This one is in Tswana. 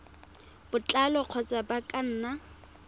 botlalo kgotsa ba ka nna